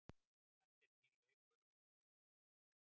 Þetta er nýr leikur og við viljum vinna.